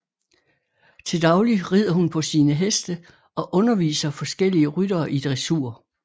Til daglig rider hun på sine heste og underviser forskellige ryttere i dressur